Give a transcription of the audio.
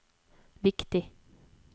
viktig